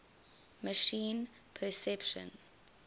machine perception